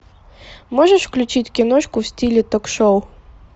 можешь включить киношку в стиле ток шоу